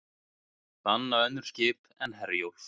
Banna önnur skip en Herjólf